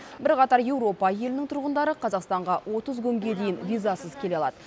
бірқатар еуропа елінің тұрғындары қазақстанға отыз күнге дейін визасыз келе алады